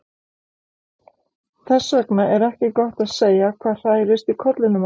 Þess vegna er ekki gott að segja hvað hrærist í kollinum á honum.